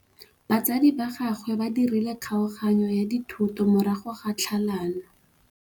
Batsadi ba gagwe ba dirile kgaoganyô ya dithoto morago ga tlhalanô.